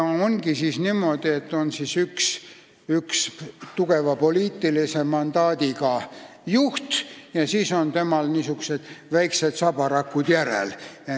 Siis ongi niimoodi, et on üks tugeva poliitilise mandaadiga juht ja tema järel tulevad sellised väiksed sabarakud.